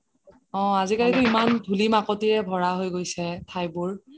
অহ আজি কালিতো ইমান ধুলি মাকতিৰে ভৰা হয় গৈছে ঠাইবোৰ